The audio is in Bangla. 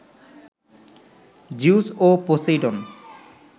জিউস ও পসেইডন